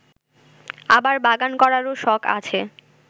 আবার বাগান করারও শখ আছে